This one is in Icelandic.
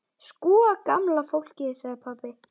Sko gamla fólkið sagði pabbi.